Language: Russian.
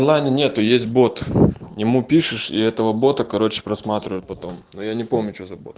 зайна нету есть бот ему пишешь и этого бота короче просматривают потом но я не помню что за бот